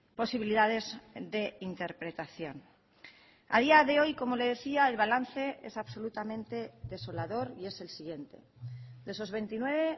posibilidades de interpretación a día de hoy como le decía el balance es absolutamente desolador y es el siguiente de esos veintinueve